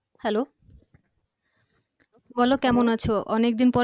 Hello বলো কেমন আছ? অনেক দিন পরে